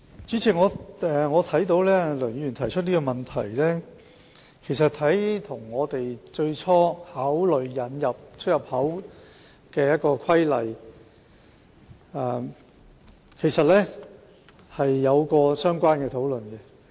主席，對於梁議員提出的問題，其實我們在最初考慮實施《規例》時，曾作出討論。